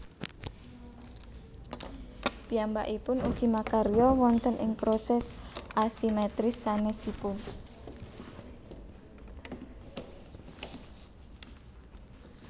Piyambakipun ugi makarya wonten ing proses asimetris sanésipun